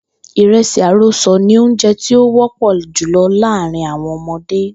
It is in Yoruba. Ìre̩sì àrosò̩ ni oúnjé̩ tí ó wó̩pò̩ jùlo̩ láàárín àwo̩n o̩mo̩dé